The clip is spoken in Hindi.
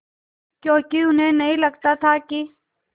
क्योंकि उन्हें नहीं लगता था कि